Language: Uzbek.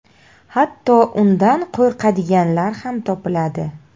Hatto undan qo‘rqadiganlar ham topiladi.